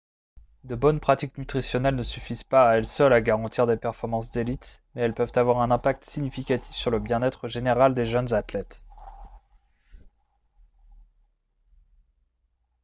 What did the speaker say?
de bonnes pratiques nutritionnelles ne suffisent pas à elles seules à garantir des performances d'élite mais elles peuvent avoir un impact significatif sur le bien-être général des jeunes athlètes